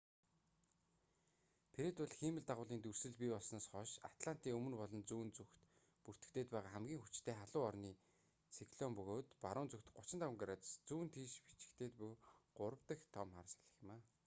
фред бол хиймэл дагуулын дүрслэл бий болсноос хойш атлантын өмнө болон зүүн зүгт бүртгэгдээд байгаа хамгийн хүчтэй халуун орны циклон бөгөөд баруун зүгт 35 градус зүүн тийш бичигдээд буй гурав дах том хар салхи юм